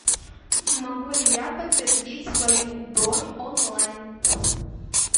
могу ли я подтвердить свою бронь онлайн